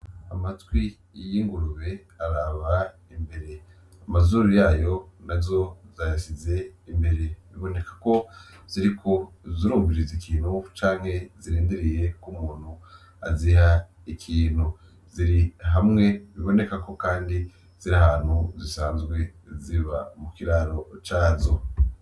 Amatwi y' ingurube araba imbere , amazuru yayo nazo zayasize imbere biboneka ko ziriko zirumviriza ikintu canke zirindiriye umuntu azihe ikintu. Ziri hamwe biboneka ko kandi ziri ahantu zisanzwe ziba muki raro cazo.